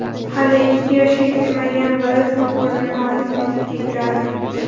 Hali ikki yoshga kirmagan bola telefonimni olib, YouTube’ga kiradi.